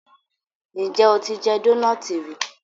njé o tí jé Dónáátì rí?